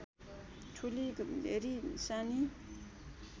ठुली भेरी सानी